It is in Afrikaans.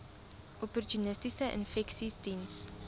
opportunistiese infeksies diens